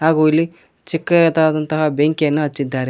ಹಾಗೂ ಇಲ್ಲಿ ಚಿಕ್ಕದಾದಂತಹ ಬೆಂಕಿಯನ್ನ ಹಚ್ಚಿದ್ದಾರೆ.